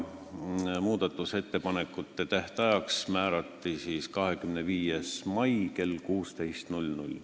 Muudatusettepanekute tähtajaks määrati 25. mai kell 16.